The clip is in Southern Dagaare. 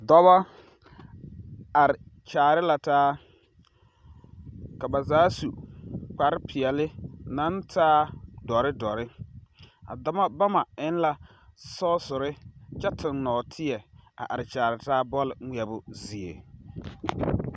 Dͻbͻ are kyaare la taa. Ka ba zaa su kpare-peԑle naŋ taa dͻre dͻre. A dͻbͻ ba ma eŋ la sͻͻsere kyԑ tuŋ nͻͻteԑ a are kyaare taa bͻl ŋmeԑbo zie.